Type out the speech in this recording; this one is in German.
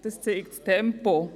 Das zeigt das Tempo.